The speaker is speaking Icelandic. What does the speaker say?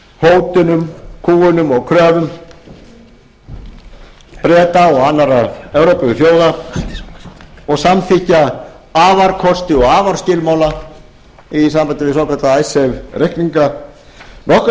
fyrir hótunum kúgunum og kröfum breta og annarra evrópuþjóða og samþykkja afarkosti og afarskilmála í sambandi við svokallaða icesave reikninga nokkuð